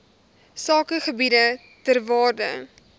sakegebiede ter waarde